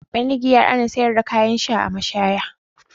Banda giya, ana sayar da kayan sha a mashaya.